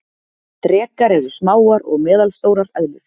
Drekar eru smáar og meðalstórar eðlur.